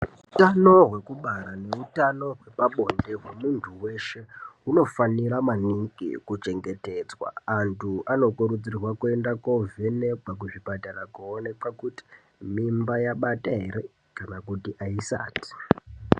Utano hwekubara neutano hwepabonde wemuntu weshe hunofanira maningi kuchengetedzwa. Antu anokurudzirwa koovhenekwa kuzvipatara koonekwa kuti mimba yabata ere kana kuti aisati.